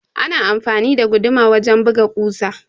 Ana amfani da guduma wajen buga kusa.